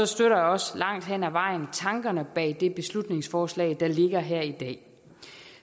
støtter jeg også langt hen ad vejen tankerne bag det beslutningsforslag der ligger her i dag